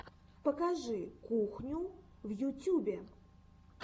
покажи кухню в ютюбе